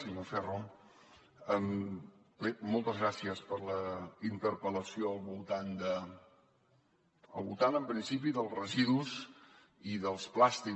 senyor ferro bé moltes gràcies per la interpel·lació al voltant en principi dels residus i dels plàstics